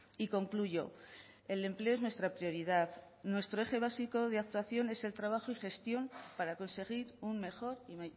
y concluyo el empleo es nuestra prioridad nuestro eje básico de actuación es el trabajo y gestión para conseguir un mejor y